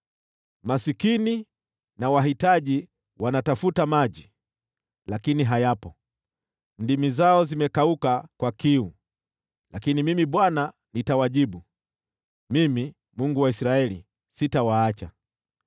“Maskini na wahitaji wanatafuta maji, lakini hayapo, ndimi zao zimekauka kwa kiu. Lakini Mimi Bwana nitawajibu, Mimi, Mungu wa Israeli, sitawaacha.